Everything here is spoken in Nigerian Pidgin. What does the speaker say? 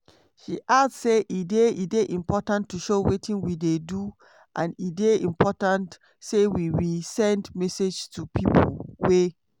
she add say e dey "e dey important to show wetin we dey do and e dey important say we we send messages to pipo wey